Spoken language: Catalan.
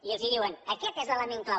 i els diuen aquest és l’element clau